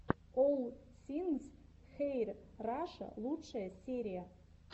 олл сингс хэир раша лучшая серия